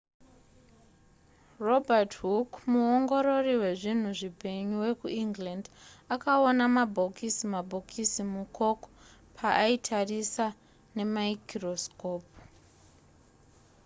robert hooke muongorori wezvinhu zvipenyu wekuengland akaona mabhokisi mabhokisi mucork paaitarisa nemaikorosikopu